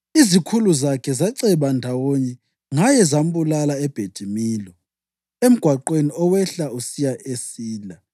Izikhulu zakhe zaceba ndawonye ngaye zambulala eBhethi-Milo, emgwaqweni owehla usiya eSila.